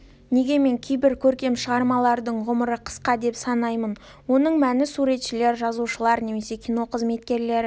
неге мен кейбір көркем шығармалардың ғұмыры қысқа деп санаймын оның мәні суретшілер жазушылар немесе кино қызметкерлері